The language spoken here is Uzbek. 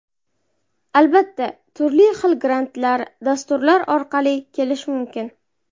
Albatta, turli xil grantlar, dasturlar orqali kelish mumkin.